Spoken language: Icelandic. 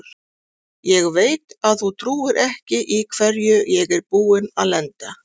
Ég veit að þú trúir ekki í hverju ég er búinn að lenda.